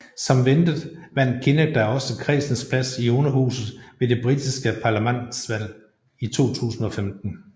Som ventet vandt Kinnock da også kredsens plads i Underhuset ved det Britiske Parlamentsvalg 2015